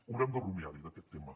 haurem de rumiar hi en aquest tema